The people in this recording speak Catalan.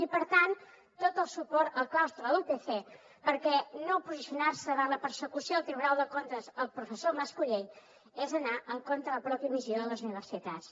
i per tant tot el suport al claustre de la upc perquè no posicionar se davant la persecució del tribunal de comptes al professor mas collell és anar en contra de la pròpia missió de les universitats